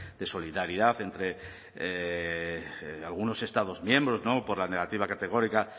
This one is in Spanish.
de solidaridad entre algunos estados miembros por la negativa categórica